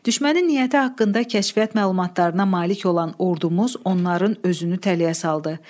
Düşmənin niyyəti haqqında kəşfiyyat məlumatlarına malik olan ordumuz onların özünü tələyə saldı.